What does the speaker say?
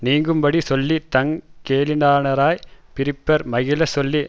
நீங்கும்படி சொல்லி தங் கேளிரானாரைப் பிரிப்பர் மகிழச் சொல்லி